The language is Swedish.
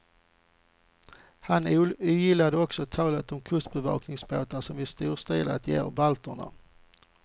Han ogillar också talet om kustbevakningsbåtar som vi storstilat ger balterna.